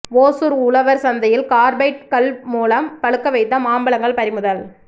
ஓசூர் உழவர் சந்தையில் கார்பைட் கல் மூலம் பழுக்க வைத்த மாம்பழங்கள் பறிமுதல்